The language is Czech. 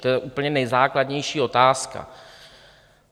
To je úplně nejzákladnější otázka.